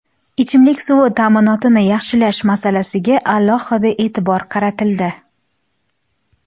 Ichimlik suvi ta’minotini yaxshilash masalasiga alohida e’tibor qaratildi.